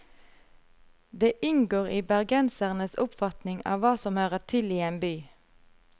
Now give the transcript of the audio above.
Det inngår i bergensernes oppfatning av hva som hører til i en by.